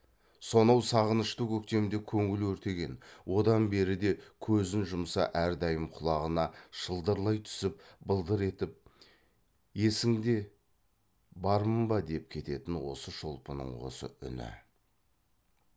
сонау сағынышты көктемде көңіл өртеген одан бері де көзін жұмса әрдайым құлағына шылдырлай түсіп былдыр етіп есіңде бармын ба деп кететін осы шолпының осы үні